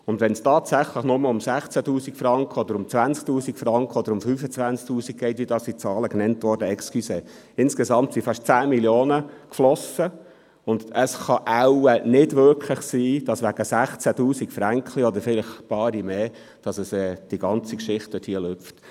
Und wenn es tatsächlich nur um 16 000 oder 20 000 oder 25 000 Franken geht, wie hier gesagt wurde… Entschuldigung: Insgesamt flossen fast 10 Mio. Franken, und es kann wohl nicht wirklich sein, dass nun wegen 16 000 «Fränkli», oder vielleicht ein paar mehr, die ganze Geschichte bachab geht.